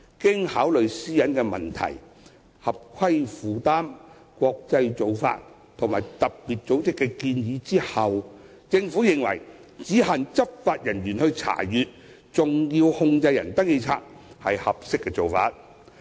經考慮私隱的問題、合規負擔、國際做法和特別組織的建議後，政府認為只限執法人員查閱登記冊是合適的做法。